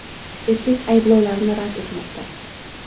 Erkak ayblovlarni rad etmoqda.